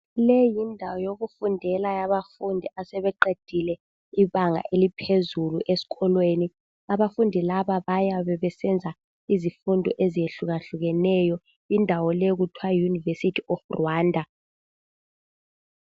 Le yindawo yokufundela yabafundi asebeqedile ibanga eliphezulu eskolweni abafundi laba bayabe besenza izifundo ezihlukahlukeneyo indawo le kuthiwa yiyunivesithi ye Rwanda.